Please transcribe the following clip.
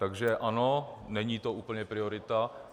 Takže ano, není to úplně priorita.